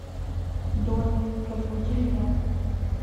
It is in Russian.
дони разбуди меня